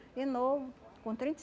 E novo, com trinta e